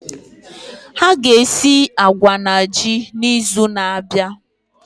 Ha ga esi agwa na ji n'izu na-abịa.